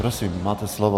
Prosím, máte slovo.